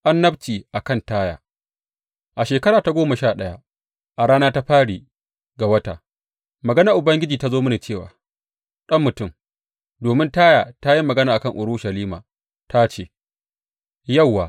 Annabci a kan Taya A shekara ta goma sha ɗaya, a rana ta fari ga wata, maganar Ubangiji ta zo mini cewa, Ɗan mutum, domin Taya ta yi magana a kan Urushalima ta ce, Yauwa!